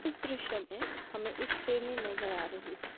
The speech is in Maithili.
इस दृश्य में हमें एक शेरनी नजर आ रही है।